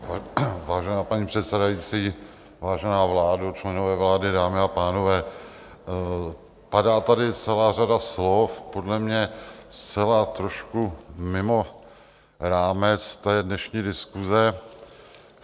Vážená paní předsedající, vážená vládo, členové vlády, dámy a pánové, padá tady celá řada slov podle mě zcela, trošku mimo rámec té dnešní diskuse.